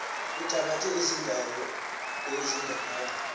uthabathe iindawo ezingaphaya